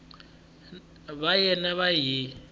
va yena va n wi